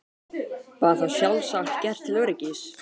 Var það sjálfsagt gert til öryggis.